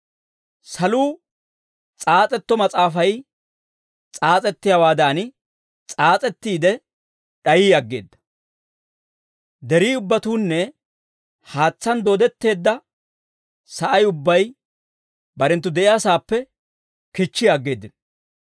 Saluu s'aas'etto mas'aafay s'aas'ettiyaawaadan, s'aas'ettiide d'ayi aggeeda; deri ubbatuunne haatsaan dooddetteedda sa'ay ubbay barenttu de'iyaasaappe kichchi aggeeddino.